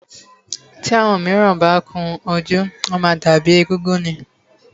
Tí àwọn míràn bá kun ojú, wọ́n má ń dàbí éégún ni.